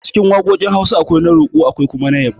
Acikin waƙoƙin Hausa, akwai na roƙo akwai kuma na yabo